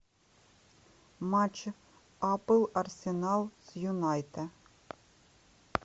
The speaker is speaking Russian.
матч апл арсенал с юнайтед